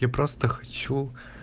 я просто хочу